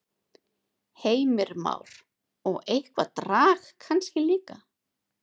Heimir Már: Og eitthvað drag kannski líka?